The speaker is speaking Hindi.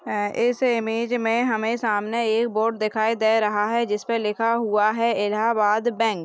अ इस इमेज में हमें सामने एक बोर्ड दिखाई दे रहा है जिस पे लिखा हुआ है इलाहाबाद बैंक ।